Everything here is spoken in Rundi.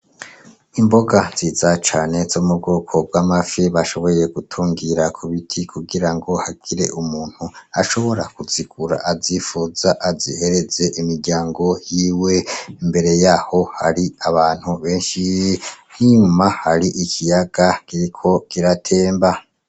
Imboga nziza cane zo m'ubwoko bw'amafi bashoboye gutungira k'ubiti kugirango hagire umuntu ashobora kuzigura azifuza azihereze imiryango yiwe, Mbere yaho hari abantu beshi n'inyuma hari ikiyaga kiriko kiratemba.